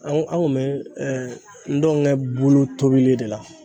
An an kun bɛ ntɔngɛ bulu tobili de la